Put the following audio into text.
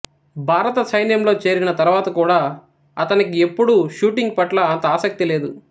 భారత సైన్యంలో చేరిన తరువాత కూడా అతనికి ఎప్పుడూ షూటింగ్ పట్ల అంత ఆసక్తి లేదు